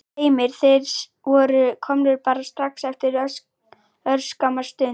Heimir: Þeir voru komnir bara strax eftir örskamma stund?